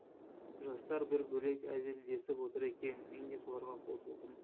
жастар бір бөлек әзілдесіп отыр екен мен де соларға қосылдым